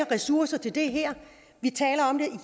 ressourcer til det her vi taler om det